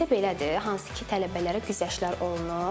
Bizdə belədir, hansı ki, tələbələrə güzəştlər olunur.